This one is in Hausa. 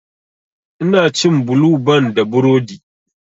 Ina cin bulu ban da burodi.